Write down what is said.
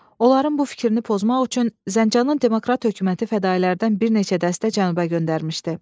Onların bu fikrini pozmaq üçün Zəncanın demokrat hökuməti fədalərdən bir neçə dəstə cənuba göndərmişdi.